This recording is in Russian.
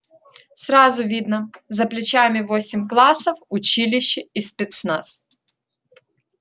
сразу видно за плечами восемь классов училище и спецназ